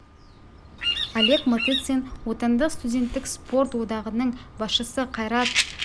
олег матыцин отандық студенттік спорт одағының басшысы кайрат закирьянов боксшы қанат ислам футзалшы дінмұхамбет сүлейменов